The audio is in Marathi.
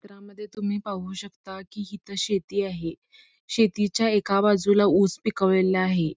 चित्रामध्ये तुम्ही पाही शकता कि हित शेती आहे शेतीच्या एका बाजूला ऊस पिकवलेला आहे